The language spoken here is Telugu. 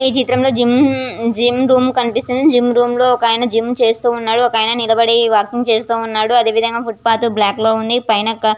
ఈ చిత్రం జిం జిం రూమ్ కనిపిస్తుంది. జిం లో ఒక అయన జిం చేస్తున్నాడు ఒక అయన నిలపడి వాకింగ్ చేస్తున్నాడు అలాగే ఒక అయన --